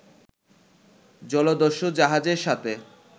জলদস্যু জাহাজের সাথে